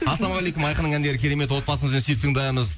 ассалаумағалейкум айқынның әндері керемет отбасымызбен сүйіп тыңдаймыз